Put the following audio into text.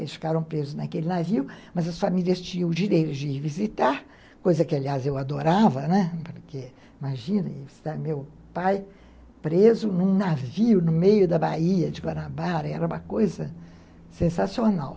Eles ficaram presos naquele navio, mas as famílias tinham o direito de visitar, coisa que, aliás, eu adorava, né, porque, imagina, visitar meu pai preso num navio no meio da Baía de Guanabara, era uma coisa sensacional.